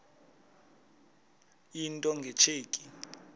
into nge tsheki